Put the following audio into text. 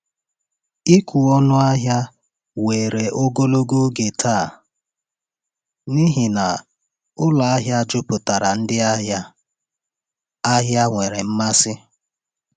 Ịkwụ ọnụ ahịa were ogologo oge taa n’ihi na ụlọ ahịa juputara ndị ahịa ahịa nwere mmasị.